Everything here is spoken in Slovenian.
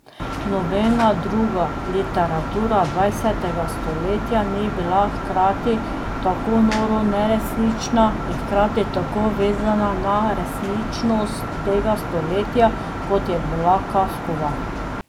Nobena druga literatura dvajsetega stoletja ni bila hkrati tako noro neresnična in hkrati tako vezana na resničnost tega stoletja, kot je bila Kafkova.